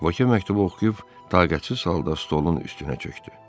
Vokye məktubu oxuyub, taqətsiz halda stolun üstünə çökdü.